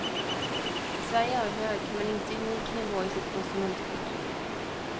Sverige har hög men inte unik nivå i sitt konsumentskydd.